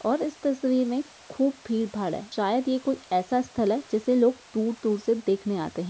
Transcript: और इस तस्वीर में खूब भीड़-भाड़ है शायद ये कोई ऐसा स्थल है जिसे लोग दूर-दूर से देखने आते हैं।